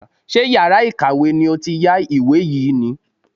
Ṣé yàrá ìkàwé ni ó ti yá ìwé yìí ni?